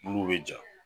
Bulu bɛ ja